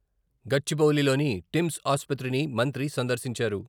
గచ్చిబౌలిలోని TIMS ఆసుపత్రిని మంత్రి సందర్శించారు.